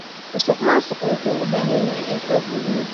Musuqmaasuqa wuxuu u baahan yahay in xoog lagu wajaho.